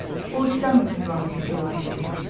O istəmirdi Valeh Gülarəni görsün.